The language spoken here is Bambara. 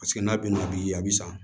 Paseke n'a bɛna bi a bɛ san